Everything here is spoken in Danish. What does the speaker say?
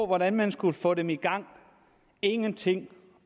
hvordan man skulle få dem i gang ingenting